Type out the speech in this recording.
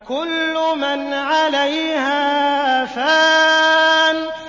كُلُّ مَنْ عَلَيْهَا فَانٍ